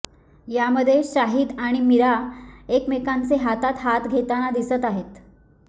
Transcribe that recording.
यामध्ये शाहीद आणि मीरा एकमेकांचे हातात हात घेताना दिसत आहेत